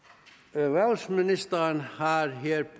erhvervsministeren har her